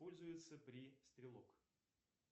пользуется при стрелок